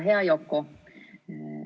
Hea Yoko!